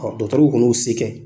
kɔni y'u se kɛ